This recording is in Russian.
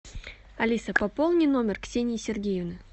алиса пополни номер ксении сергеевны